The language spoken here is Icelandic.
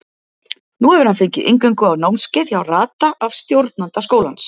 Nú hefur hann fengið inngöngu á námskeið hjá Rada af stjórnanda skólans.